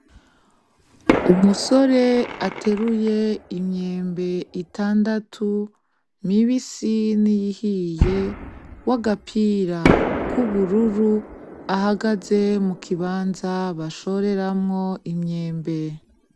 Umusore ateruye imyembe itandatu, mibisi n'iyihiye, w'agapira k'ubururu. Ahagaze mu kibanza bashoreramwo imyembe.